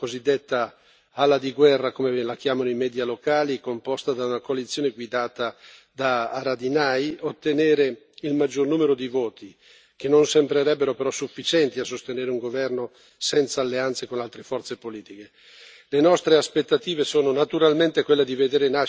Il risultato delle importanti elezioni di domenica scorsa ha visto la cosiddetta ala di guerra, come la chiamano i media locali, composta da una coalizione guidata da Haradinaj, ottenere il maggior numero di voti che non sembrerebbero però sufficienti a sostenere un governo senza alleanze con altre forze politiche.